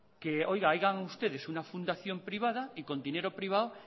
que hagan ustedes una fundación privada y con dinero privado